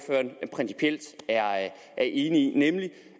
han principielt er enig i nemlig